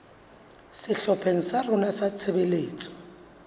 sehlopheng sa rona sa tshebetso